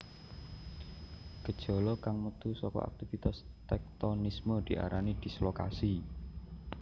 Gejala kang metu saka aktivitas téktonisme diarani dislokasi